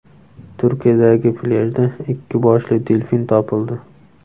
Turkiyadagi plyajda ikki boshli delfin topildi.